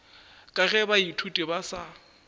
ka ge baithuti ba sa